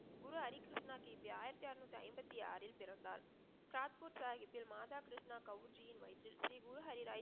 குரு ஹரி கிருஷ்ணா கி. பி. ஆயிரத்தி அறநூற்றி ஐம்பத்தி ஆறில் பிறந்தார். சாத் பூர் சாஹிபில் மாதா கிருஷ்ணா கவுஞ்சியின் வயிற்றில் ஸ்ரீ குரு ஹரி ராய்